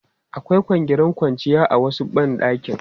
Akwai kwangirin kwanciya a wasu ban ɗakin.